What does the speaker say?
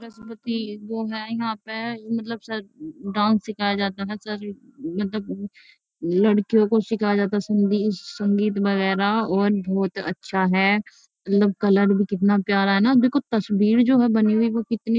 वो है यहाँ पे मतलब डांस सिखाया जाता है। मतलब लड़कियों को सिखाया जाता है। संगी संगीत वगेरा और बहोत अच्छा है। मतलब कलर भी कितना प्यारा है ना। देखो तस्बीर जो है बनी हुई वो कितनी --